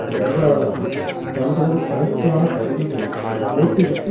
தொழிலாளர்கள் தங்களது பணிக்கான கருவிகளை போட்டுவிட்டு